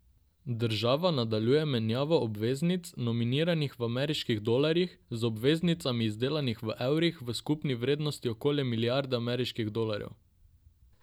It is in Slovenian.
Država nadaljuje menjavo obveznic, nominiranih v ameriških dolarjih, z obveznicami, izdanimi v evrih, v skupni vrednosti okoli milijarde ameriških dolarjev.